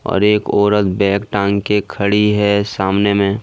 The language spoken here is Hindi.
और एक औरत बैग टांग के खड़ी है सामने में।